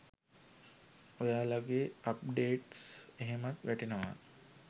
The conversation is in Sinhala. ඔයාලගේ අප්ඩේට්ස් එහෙමත් වැටෙනවා.